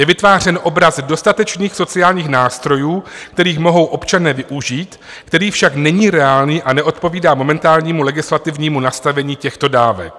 Je vytvářen obraz dostatečných sociálních nástrojů, kterých mohou občané využít, který však není reálný a neodpovídá momentálnímu legislativnímu nastavení těchto dávek."